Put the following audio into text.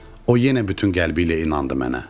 O yenə bütün qəlbiylə inandı mənə.